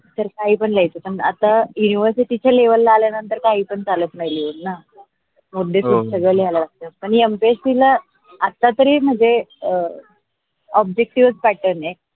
तर काही पण लिहायेच समजा आता university च्या लेवला आल्या नंतर काही पण चालत नाही लिहून सगळे पुस्तक लिहा लागते पण MPSC ला आता तरी म्हनजे ओप objective pattern आहे